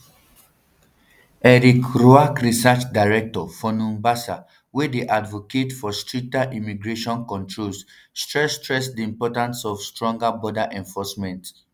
eric ruark research director um for numbersusa wey dey advocates for stricter immigration controls stress stress di importance of stronger border enforcement